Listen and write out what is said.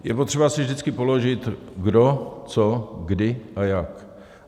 Je potřeba si vždycky položit : kdo, co, kdy a jak.